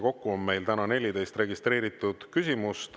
Kokku on meil täna 14 registreeritud küsimust.